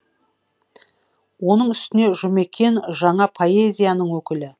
оның үстіне жұмекен жаңа поэзияның өкілі